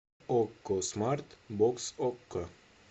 окко смарт бокс окко